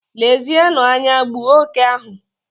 Lezienụ anya, gbuo oke ahụ!